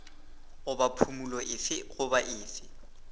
goba phumolo efe goba efe